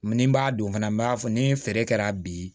Ni n b'a don fana n b'a fɔ ni feere kɛra bi